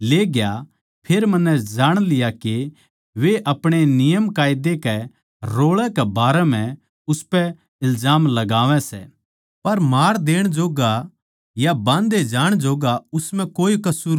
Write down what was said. फेर मन्नै जाण लिया के वे अपणे नियमकायदे कै रोळै कै बारै म्ह उसपै इल्जाम लगावै सै पर मार देण जोग्गा या बाँध्धे जाणकै जोग्गा उस म्ह कोए कसूर कोनी